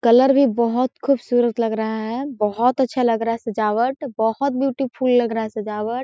colour भी बहुत खुबसूरत लग रहा है बोहत अच्छा लग रहा है सजावट बोहत ब्यूटीफुल लग रहा है सजावट--